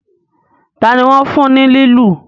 tani wón fún ní lilu?